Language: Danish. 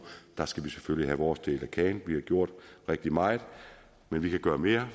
der skal vi selvfølgelig have vores del af kagen vi har gjort rigtig meget men vi kan gøre mere